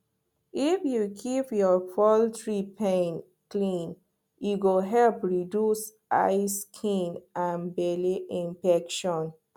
if you keep your poultry pen clean e go help reduce eye skin and belle infection